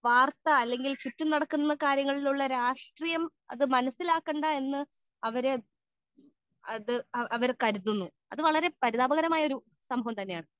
speaker 2 വാർത്ത അല്ലെങ്കിൽ ചുറ്റും നടക്കുന്ന കാര്യങ്ങളിൽ ഉള്ള രാഷ്ട്രീയം അത് മനസ്സിലാക്കേണ്ട എന്ന് അവർ കരുതുന്നു അത് വളരെ പരിതാപകരമായ ഒരു സംഭവമാണ്